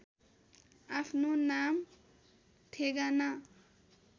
आफ्नो नाम ठेगाना